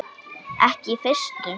Ekki í fyrstu.